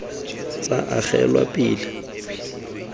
tsa agelwa pele le go